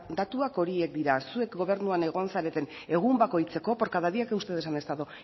datuak horiek dira zuek gobernuan egon zareten egun bakoitzeko por cada día que ustedes han estado